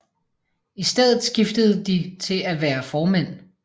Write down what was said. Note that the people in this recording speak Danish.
I stedet skiftede de til at være formænd